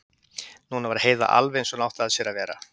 Núna var Heiða alveg eins og hún átti að sér að vera.